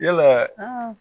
Yala